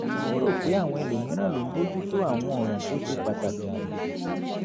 ó rò pé àwọn ẹlòmíràn ló ń bójú tó àwọn ọ̀ràn tó ṣe pàtàkì jù